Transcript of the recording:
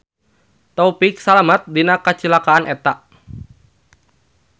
Taufik salamet dina kacilakaan eta.